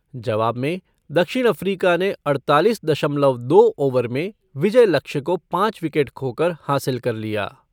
जवाब में दक्षिण अफ़्रीका ने अड़तालीस दशमलव दो ओवर में विजय लक्ष्य को पाँच विकेट खोकर हासिल कर लिया।